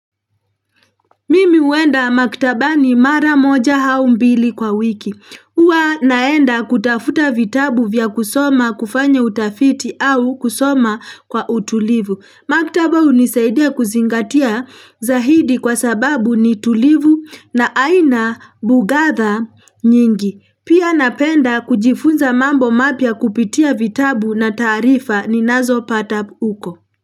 Mimi huenda maktabani mara moja au mbili kwa wiki. Huwa naenda kutafuta vitabu vya kusoma kufanya utafiti au kusoma kwa utulivu. Maktaba hunisaidia kuzingatia zaidi kwa sababu ni tulivu na aina bugadha nyingi. Pia napenda kujifunza mambo mapya kupitia vitabu na taarifa ninazopata huko.